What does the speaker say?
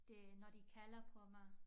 Det når de kalder på mig